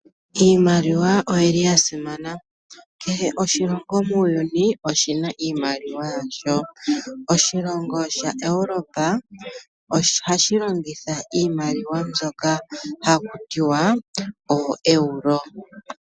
Iimaliwa oya simana. Kehe oshilongo muuyuni oshi na iimaliwa yasho. Oshilongo Europa ohashi longitha iimaliwa mbyoka haku tiwa ooEuro.